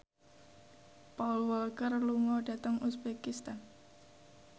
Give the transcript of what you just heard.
Paul Walker lunga dhateng uzbekistan